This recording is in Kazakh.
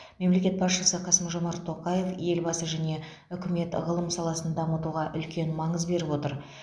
мемлекет басшысы қасым жомарт тоқаев елбасы және үкімет ғылым саласын дамытуға үлкен маңыз беріп отыр